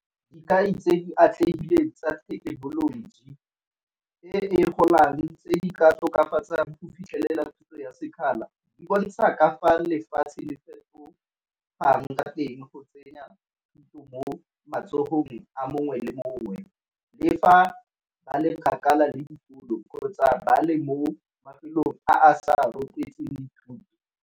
Dikai tse di atlegileng tsa thekenoloji e e golang tse di ka tokafatsang go fitlhelela thuto ya sekgala, di bontsha ka fa lefatshe le fetogang ka teng go tsenya thuto mo matsogong a mongwe le mongwe. Le fa ba le kgakala le dikolo kgotsa ba le mo mafelong a sa rotloetseng dithuto.